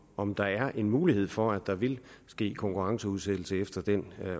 om der er en mulighed for at der vil ske konkurrenceudsættelse efter den